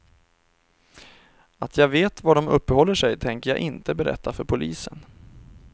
Att jag vet var de uppehåller sig tänker jag inte berätta för polisen.